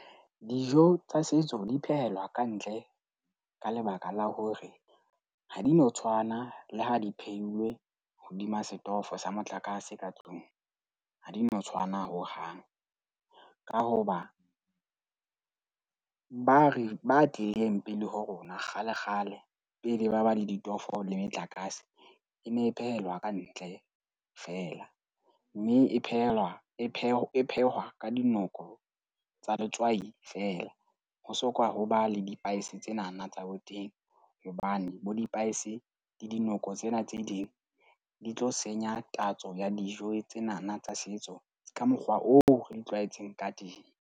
Dijo tsa setso di phehelwa ka ntle ka lebaka la hore ha di no tshwana le ha di phehilwe hodima setofo sa motlakase ka tlung. Ha di no tshwana hohang. Ka hoba ba re ba teng pele ho rona, kgale kgale pele ba ba le ditofo le metlakase. E ne e phehelwa ka ntle feela, mme e phehelwa e phehwe e phehwa ka dinoko tsa letswai feela. Ho so kwa ho ba le di-spice tsenana tsa boteng hobane bo di-spices le dinoko tsena tse ding di tlo senya tatso ya dijo tsenana tsa setso ka mokgwa oo re di tlwaetseng ka teng.